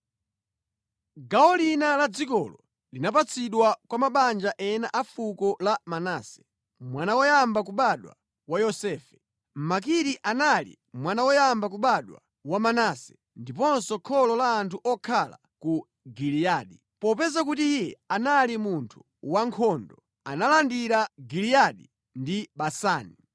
Gawo lina la dzikolo linapatsidwa kwa mabanja ena a fuko la Manase, mwana woyamba kubadwa wa Yosefe. Makiri anali mwana woyamba kubadwa wa Manase ndiponso kholo la anthu okhala ku Giliyadi. Popeza kuti iye anali munthu wankhondo, analandira Giliyadi ndi Basani.